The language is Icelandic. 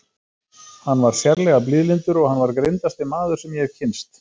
Hann var sérlega blíðlyndur og hann var greindasti maður sem ég hef kynnst.